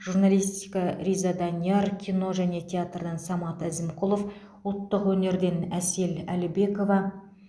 журналистика риза данияр кино және театрдан самат әзімқұлов ұлттық өнерден әсел әлібекова